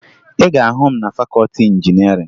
Ị ga-ahụ m na fakọọti injinịarịn